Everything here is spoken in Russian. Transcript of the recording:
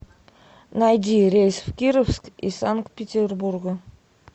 найди рейс в кировск из санкт петербурга